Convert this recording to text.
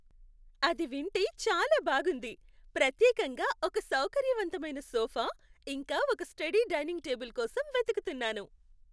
అది వింటే చాలా బాగుంది! ప్రత్యేకంగా ఒక సౌకర్యవంతమైన సోఫా, ఇంకా ఒక స్టడీ డైనింగ్ టేబుల్ కోసం వెతుకుతున్నాను.